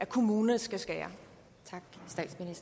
kommunerne skal skære